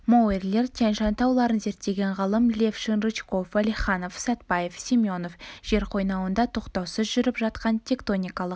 маорилер тянь-шань тауларын зерттеген ғалым левшин рычков уәлиханов сәтбаев семенов жер қойнауында тоқтаусыз жүріп жатқан тектоникалық